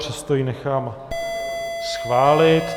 Přesto ji nechám schválit.